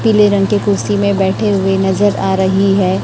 पीले रंग की कुर्सी में बैठे हुए नजर आ रही है।